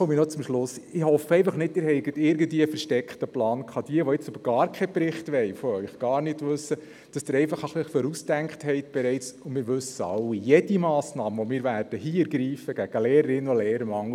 Aber, zu jenen, welche jetzt eine schnelle Lösung wollen: Halten Sie dann Lei, wenn die ersten Massnahmen hier auf den Tisch kommen.